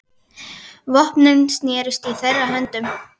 Vopnin snerust í þeirra höndum.